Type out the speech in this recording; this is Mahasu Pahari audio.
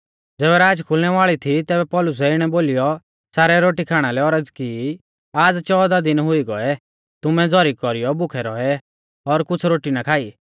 ज़ैबै राच खुलनै वाल़ी थी तैबै पौलुसै इणै बोलीयौ सारै रोटी खाणा लै औरज़ की आज़ चौदह दिन हुई गौऐ तुमै झ़ौरी कौरीयौ भुखै रौऐ और कुछ़ रोटी ना खाई